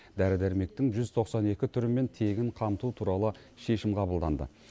дәрі дәрмектің жүз тоқсан екі түрімен тегін қамту туралы шешім қабылданды